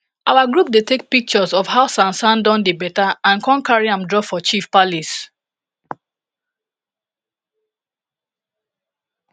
our group dey take pictures of how sansan don dey beta and con cari am drop for chief palace